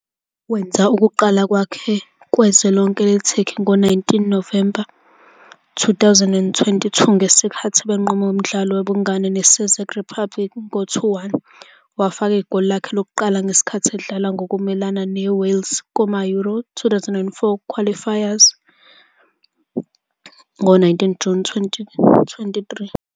Wenza ukuqala kwakhe kwezwe lonke le-Turkey ngo-19 November 2022, ngesikhathi benqoba umdlalo wobungane ne-Czech Republic ngo-2-1. Wafaka igoli lakhe lokuqala ngesikhathi edlala ngokumelene ne-Wales kuma-Euro 2024 qualifiers ngo-19 June 2023.